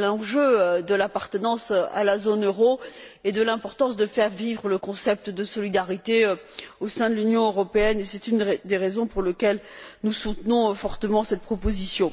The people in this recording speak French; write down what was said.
l'enjeu de l'appartenance à la zone euro et l'importance de faire vivre le concept de solidarité au sein de l'Union européenne, et c'est une des raisons pour lesquelles nous soutenons fortement cette proposition.